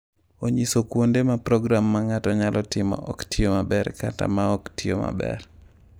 Onyiso kuonde ma program ma ng’ato nyalo timo ok tiyo maber kata ma ok tiyo maber.